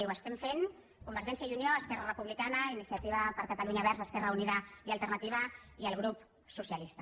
ho estem fent convergència i unió esquerra republicana iniciativa per catalunya verds esquerra unida i alternativa i el grup socialista